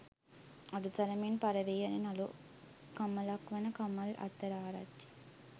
අඩු තරමින් පරවී යන නළු කමලක් වන කමල් අද්දරආරච්චි